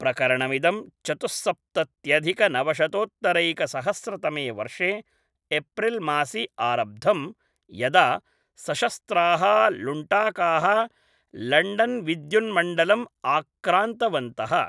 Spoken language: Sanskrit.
प्रकरणमिदं चतुस्सप्तत्यधिकनवशतोत्तरैकसहस्रतमे वर्षे एप्रिल्मासि आरब्धम्, यदा सशस्त्राः लुण्टाकाः लण्डन्विद्युन्मण्डलम् आक्रान्तवन्तः।